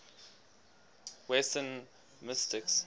western mystics